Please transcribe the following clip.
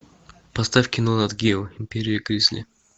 поставь кино нат гео империя гризли